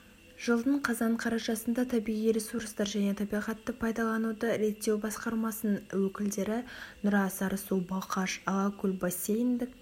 жылдың қазан қарашасында табиғи ресурстар және табиғатты пайдалануды реттеу басқармасының өкілдері нұра сарысу балқаш алакөл бассейндік